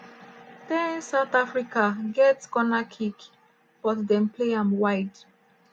10' south africa get corner kick but dem play am wide.